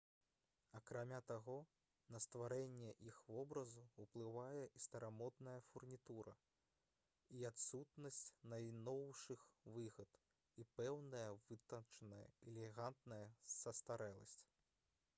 акрамя таго на стварэнне іх вобразу ўплывае і старамодная фурнітура і адсутнасць найноўшых выгод і пэўная вытанчаная і элегантная састарэласць